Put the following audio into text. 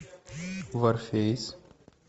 варфейс